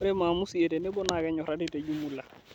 Ore maamusi e tenebo naa kenyorari tejumula